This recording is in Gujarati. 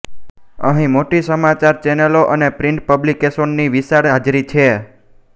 અંહી મોટી સમાચાર ચેનલો અને પ્રિન્ટ પબ્લિકેશનોનીવિશાળ હાજરી છે